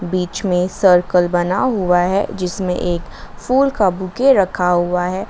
बीच में सर्कल बना हुआ है जिसमें एक फूल का बुके रखा हुआ है।